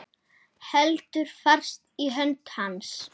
Heldur fast í hönd hans.